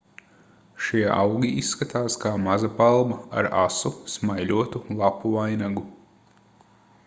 šie augi izskatās kā maza palma ar asu smaiļotu lapu vainagu